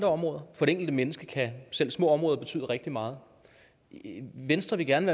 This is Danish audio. områder for det enkelte menneske kan selv små områder betyde rigtig meget venstre vil gerne